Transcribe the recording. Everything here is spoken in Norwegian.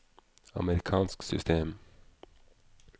amerikansk system